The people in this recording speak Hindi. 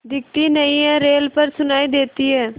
दिखती नहीं रेल पर सुनाई देती है